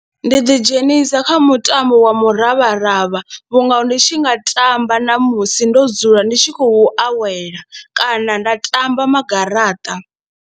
Ndi ḓidzhenisa kha mutambo wa muravharavha vhunga ndi tshi nga tamba namusi ndo dzula ndi tshi khou awela kana nda tamba magaraṱa.